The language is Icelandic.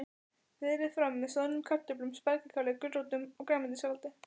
Berið fram með soðnum kartöflum, spergilkáli, gulrótum og grænmetissalati.